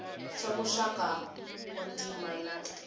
swa muxaka wa ntima na